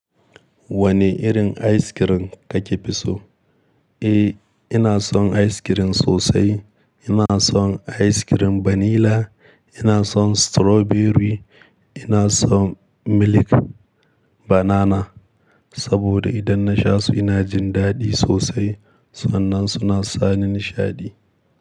Wane irin ice cream kake fi so? Eh, ina son ice cream sosai. Ina son ice cream vanilla, ina son strawberry, ina son milk banana saboda idan na sha su ina jin daɗi sosai sannan suna sa ni nishaɗi.